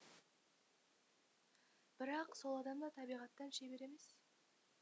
бірақ сол адам да табиғаттан шебер емес